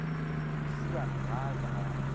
lesibana ga a ka a